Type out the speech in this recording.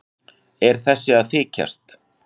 Er þessi að þykjast?